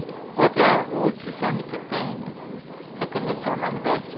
E outra outro sonho que eu tenho é conhecer o Nordeste.